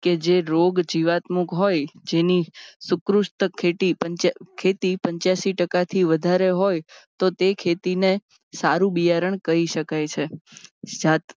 જે રોગ જીવાતમુક્ત હોય જેની સુપ્રુસ્ટ ખેતી પંચ્યાસી ટકાથી વધારે હોય તો તે ખેતીને સારું બિયારણ કહી સકાય છે.